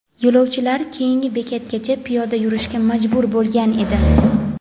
yo‘lovchilar keyingi bekatgacha piyoda yurishga majbur bo‘lgan edi.